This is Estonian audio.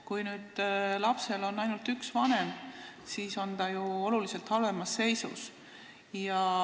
Kui lapsel on ainult üks vanem, siis on ta ju oluliselt halvemas seisus.